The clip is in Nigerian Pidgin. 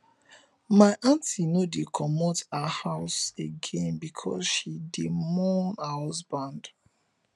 my aunty no dey comot her house again because she dey mourn her husband